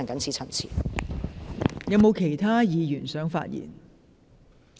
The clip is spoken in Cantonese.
是否有其他議員想發言？